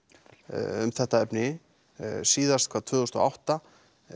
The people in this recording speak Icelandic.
um þetta efni síðast tvö þúsund og átta